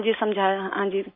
हाँजी समझाया हाँजी